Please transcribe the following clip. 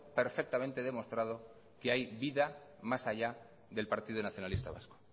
perfectamente demostrado que hay vida más allá del partido nacionalista vasco